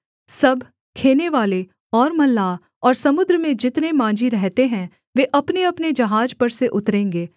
सब खेनेवाले और मल्लाह और समुद्र में जितने माँझी रहते हैं वे अपनेअपने जहाज पर से उतरेंगे